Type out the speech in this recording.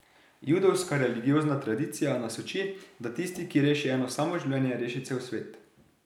Judovska religiozna tradicija nas uči, da tisti, ki reši eno samo življenje, reši cel svet.